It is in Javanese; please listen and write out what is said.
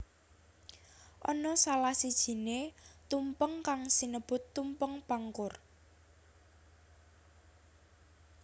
Ana salah sijiné tumpeng kang sinebut Tumpeng Pangkur